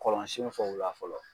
Kɔlɔnsen fɛyiba fɔlɔ